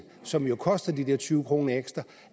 som jo koster de her tyve kroner ekstra